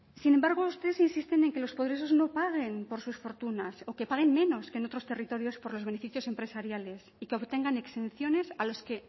sin embargo ustedes insisten en que los poderosos no paguen por sus fortunas o que paguen menos que en otros territorios por los beneficios empresariales y que obtengan exenciones a los que